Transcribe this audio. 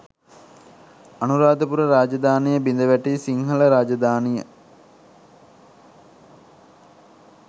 අනුරාධපුර රාජධානිය බිඳවැටි සිංහල රාජධානිය